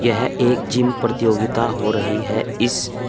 यह एक जिम प्रतियोगिता हो रही है इस--